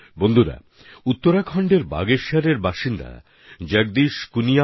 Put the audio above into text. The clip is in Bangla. বন্ধুগণ উত্তরাখণ্ডের বাগেশ্বরে থাকেন জগদীশ কুনিয়াল